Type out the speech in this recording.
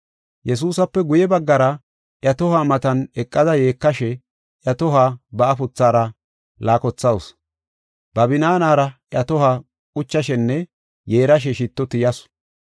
Yesuusape guye baggara, iya tohuwa matan eqada yeekashe iya tohuwa ba afuthaara laakothawusu. Ba binaanara iya tohuwa quchashenne yeerashe shitto tiyasu.